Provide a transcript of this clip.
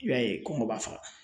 I b'a ye kɔngɔ b'a faga